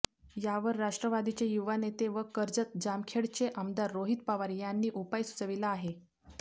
यावर राष्ट्रवादीचे युवा नेते व कर्जत जामखेडचे आमदार रोहित पवार यांनी उपाय सुचविला आहे